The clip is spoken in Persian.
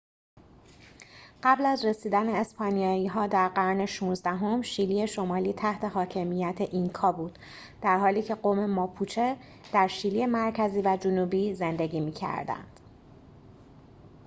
قبل از رسیدن اسپانیایی‌ها در قرن ۱۶ام شیلی شمالی تحت حاکمیت اینکا بود درحالیکه قوم ماپوچه در شیلی مرکزی و جنوبی زندگی می‌کردند